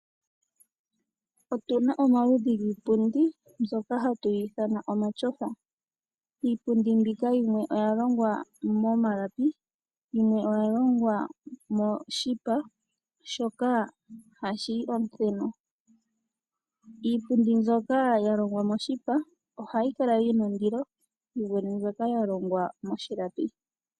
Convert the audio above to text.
Otuna omaludhi giipumpundi mbyoka hatuyithana omatyofa ,iipundindi mbika yimwe oya yolongwa molapi, yimwe oyalongwa moshipa shoka hashiyi omuthenu ,iipundi byoka yalongwa moshipa ohayikala yina ondilo yivule mboka yalongwa moshilapi.